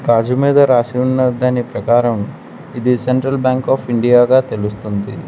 గాజు మీద రాసి ఉన్న దాన్ని ప్రకారం ఇది సెంట్రల్ బ్యాంక్ ఆఫ్ ఇండియా గా తెలుస్తుంది.